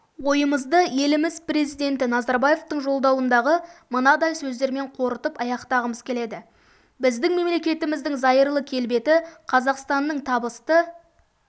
ойымызды еліміз президенті назарбаевтың жолдауындағы мынадай сөздермен қорытып аяқтағымыз келеді біздің мемлекетіміздің зайырлы келбеті қазақстанның табысты